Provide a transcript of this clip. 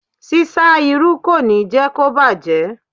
Ṣíṣá irú kò ní jẹ́ kó bàjẹ́.